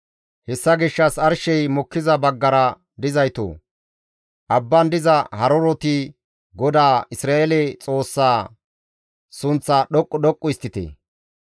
Hessa gishshas arshey mokkiza baggara dizaytoo, abban diza haruroti GODAA Isra7eele Xoossaa, sunththaa dhoqqu dhoqqu histtite.